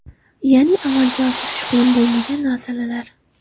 Ya’ni amalga oshirish qiyin bo‘lmagan masalalar.